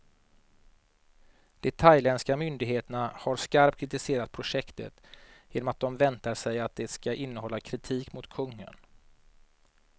De thailändska myndigheterna har skarpt kritiserat projektet, genom att de väntar sig att det ska innehålla kritik mot kungen.